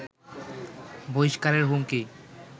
বহিস্কারের হুমকি